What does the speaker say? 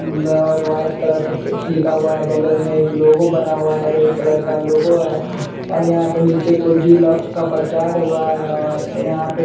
अम्बै और white colour से text लिखा हुआ है बगल में एक लोगो बना हुआ है रेड कलर का लोगो है और यहाँ पे नीचे को जी लॉक्स का प्रचार हुआ है और यहाँ पे --